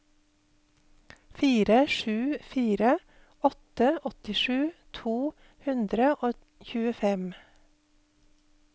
fire sju fire åtte åttisju to hundre og tjuefem